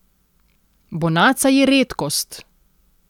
Bonaca je redkost.